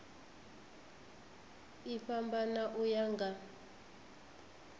i fhambana u ya nga